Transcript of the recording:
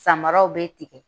Samaraw bɛ tigɛ